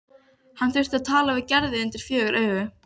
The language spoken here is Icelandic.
Og undir ólgandi yfirborði Gínu var nýtt barn byrjað vegferð.